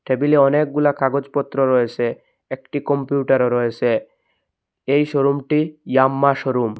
টেবিলে অনেকগুলা কাগজপত্র রয়েছে একটি কম্পিউটারও রয়েছে এই শোরুমটি ইয়াম্মা শোরুম ।